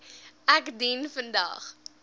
ek dien vandag